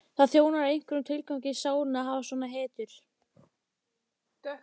Það þjónar einhverjum tilgangi í sálinni að hafa svona hetjur.